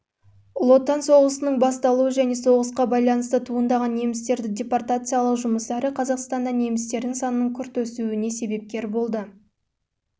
ұлы отан соғысының басталуы және соғысқа байланысты туындаған немістерді депортациялау жұмыстары қазақстанда немістердің санының күрт өсуіне себепкер